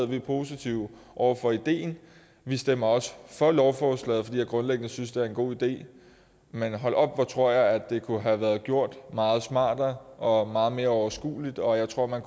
vi er positive over for ideen vi stemmer også for lovforslaget fordi vi grundlæggende synes at det er en god idé men hold op hvor tror jeg at det kunne have været gjort meget smartere og meget mere overskueligt og jeg tror at man